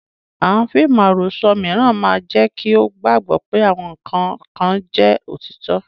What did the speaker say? Àwọn fíìmù àròsọ mìíràn máa jẹ́ kí o gbàgbọ́ pé àwọn nǹkan kan jẹ́ òtítọ́.